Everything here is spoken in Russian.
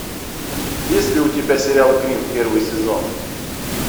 есть ли у тебя сериал грин первый сезон